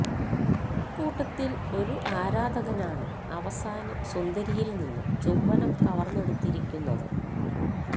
ഇക്കൂട്ടത്തിൽ ഒരു ആരാധകനാണ് അവസാനം സുന്ദരിയിൽ നിന്നും ചുംബനം കവർന്നെടുത്തിയിരിക്കുന്നത്